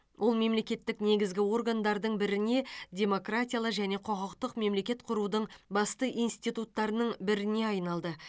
ол мемлекеттік негізгі органдардың біріне демократиялы және құқықтық мемлекет құрудың басты институттарының біріне айналды